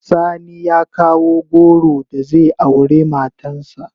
Sani ya kawo goro da zai aure matan sa.